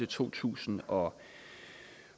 to tusind og